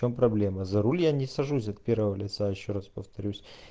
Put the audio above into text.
в чем проблема за руль я не сажусь от первого лица ещё раз повторюсь